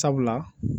Sabula